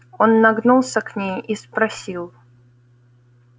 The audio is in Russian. он нагнулся к ней и спросил